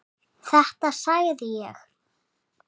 Þetta sagði ég.